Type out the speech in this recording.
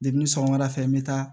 Depi sɔgɔma dafɛ n bɛ taa